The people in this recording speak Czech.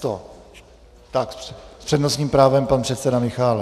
Tak s přednostním právem pan předseda Michálek.